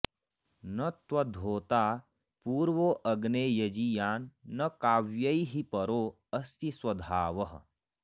न त्वद्धोता पूर्वो अग्ने यजीयान्न काव्यैः परो अस्ति स्वधावः